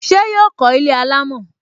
Ṣé yọ kó ilé alámọ̀?